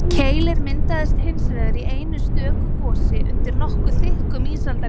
keilir myndaðist hins vegar í einu stöku gosi undir nokkuð þykkum ísaldarjökli